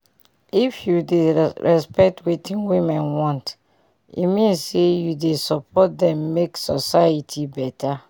if you dey respect wetin women want e mean say u dey support dem make society beta